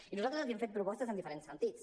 i nosaltres li hem fet propostes en diferents sentits